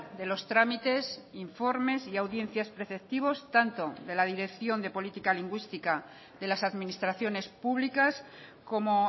de los trámites informes y audiencias preceptivos tanto de la dirección de política lingüística de las administraciones públicas como